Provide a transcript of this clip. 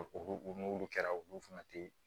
N'olu kɛra olu fana te